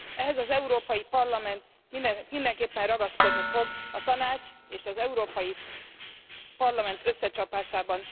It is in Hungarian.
Ehhez az Európai Parlament mindenképpen ragaszkodni fog a Tanács és az Európai Parlament összecsapásában.